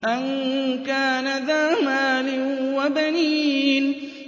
أَن كَانَ ذَا مَالٍ وَبَنِينَ